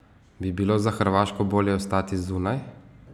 Bi bilo za Hrvaško bolje ostati zunaj?